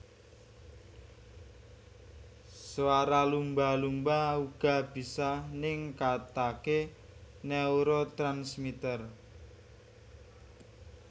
Swara lumba lumba uga bisa ningkatake neurotransmitter